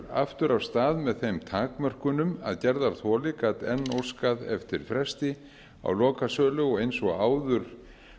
aftur af stað með þeim takmörkunum að gerðarþoli gat enn óskað eftir fresti á lokasölu og eins og áður